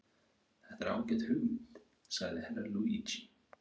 Þetta er ágæt hugmynd, sagði Herra Luigi.